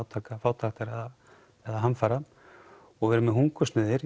átaka fátæktar eða hamfara og við erum með hungursneyðir